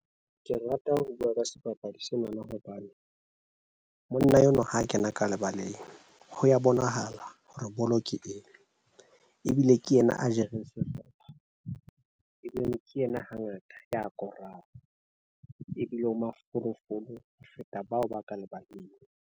Ke rata ho bua ka sebapadi sena na hobane monna enwa ha kena ka lebaleng ho ya bonahala hore bolo ke eng, ebile ke yena a jereng sehlopha, ebe ke yena hangata ya boraro ebile o mafolofolo ho feta bao ba ka lebaleng.